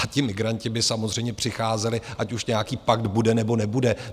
A ti migranti by samozřejmě přicházeli, ať už nějaký pakt bude, nebo nebude.